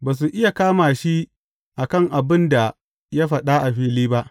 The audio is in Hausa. Ba su iya kama shi a kan abin da ya faɗa a fili ba.